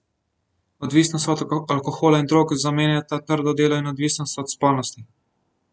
Odvisnost od alkohola in drog zamenjata trdo delo in odvisnost od spolnosti.